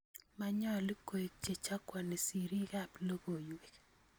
Manyalu koieg chechakwani siriikab logoiyweek